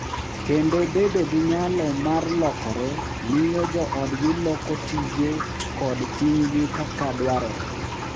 Kendo bedo gi nyalo mar lokore miyo joodgi loko tije kod ting’gi kaka dwarore.